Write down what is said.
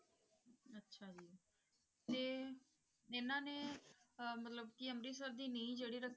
ਅੱਛਾ ਜੀ ਤੇ ਇਹਨਾਂ ਦੇ ਮਤਲਬ ਕੀ ਅੰਮ੍ਰਿਤਸਰ ਦੀ ਨੀਂਹ ਜਿਹੜੀ ਰੱਖੀ,